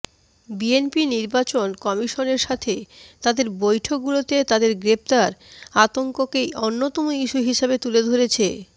BNP নির্বাচন কমিশনের সাথে তাদের বৈঠকগুলোতে তাদের গ্রেফতার আতংককে অন্যতম ইস্যু হিসেবে তুলে ধরেছে